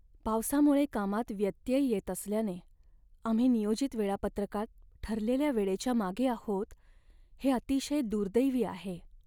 पावसामुळे कामात व्यत्यय येत असल्याने आम्ही नियोजित वेळापत्रकात ठरलेल्या वेळेच्या मागे आहोत हे अतिशय दुर्दैवी आहे.